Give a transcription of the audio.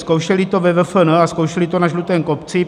Zkoušeli to ve VFN a zkoušeli to na Žlutém kopci.